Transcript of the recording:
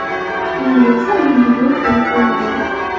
Endi esa bunga yo‘l qo‘yib bo‘lmaydi.